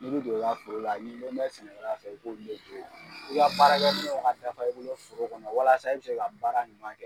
N'i bi don i ka foro la n'i bɔn bɛ sɛnɛkɛla fɛ i b'olu le don. i ka baarakɛminɛnw ka dafa i bolo foro kɔnɔ walasa e be se ka baara ɲuman kɛ.